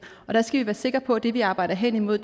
og der skal sikre på at det vi arbejder hen imod